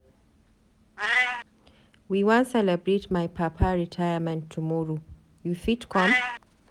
We wan celebrate my papa retirement tomorrow, you fit come?